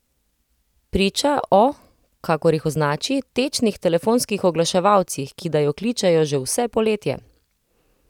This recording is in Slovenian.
Priča o, kakor jih označi, tečnih telefonskih oglaševalcih, ki da jo kličejo že vse poletje.